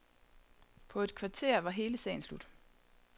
På et kvarter var hele sagen slut.